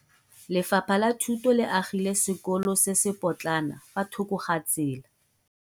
Lefapha la Thuto le agile sekolo se se potlana fa thoko ga tsela.